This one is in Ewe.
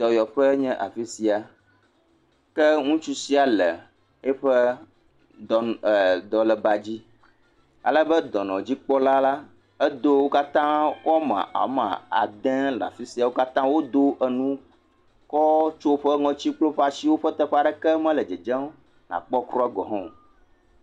Dɔyɔƒe nye afi sia, ke ŋutsu sia le eƒe dɔn…,eeee. Dɔlébadzi alebe dɔnɔdzikpɔla la edo woame aɖe le afi sia wo katã wodo nu kɔtsiɔ woƒe ŋɔti kple woƒe asiwo eye woƒe teƒe aɖeke medzedzem nakpɔ kura gɔ hã o.